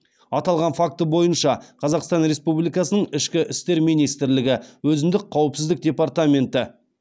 аталған факті бойынша қазақстан республикасының ішкі істер министрлігі өзіндік қауіпсіздік департаменті